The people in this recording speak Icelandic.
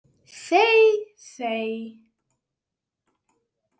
Þey þey!